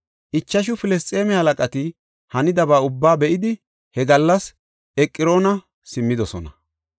Ichashu Filisxeeme halaqati hanidaba ubbaa be7idi he gallas Eqroona simmidosona.